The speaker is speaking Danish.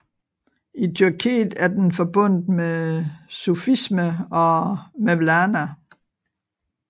I Tyrkiet er den forbundet med sufisme og Mevlana